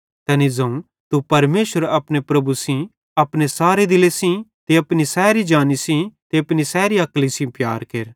तैनी ज़ोवं तू परमेशरे अपने प्रभु सेइं अपने सारे दिले सेइं ते अपनी सैरी जानी सेइं ते अपनी सैरी अक्ली सेइं प्यार केरा